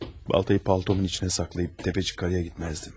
Baltanı paltomun içinə saxlayıb təpə yuxarıya getməzdim.